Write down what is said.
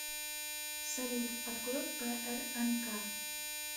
салют открой прнк